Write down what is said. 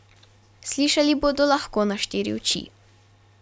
Slišali bodo lahko na štiri oči.